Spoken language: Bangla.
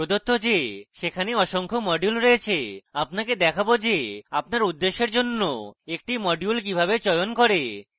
প্রদত্ত যে সেখানে অসংখ্য modules রয়েছে আপনাকে দেখাবো যে আপনার উদ্দেশ্যের জন্য একটি modules কিভাবে চয়ন করে